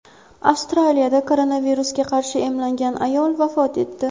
Avstriyada koronavirusga qarshi emlangan ayol vafot etdi.